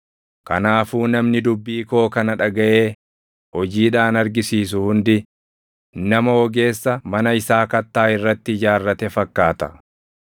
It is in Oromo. “Kanaafuu namni dubbii koo kana dhagaʼee hojiidhaan argisiisu hundi, nama ogeessa mana isaa kattaa irratti ijaarrate fakkaata.